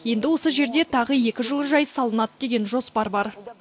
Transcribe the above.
енді осы жерде тағы екі жылыжай салынады деген жоспар бар